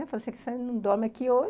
Falou assim, você não dorme aqui hoje.